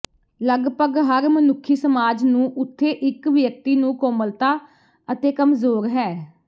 ਲਗਭਗ ਹਰ ਮਨੁੱਖੀ ਸਮਾਜ ਨੂੰ ਉੱਥੇ ਇੱਕ ਵਿਅਕਤੀ ਨੂੰ ਕੋਮਲਤਾ ਅਤੇ ਕਮਜ਼ੋਰ ਹੈ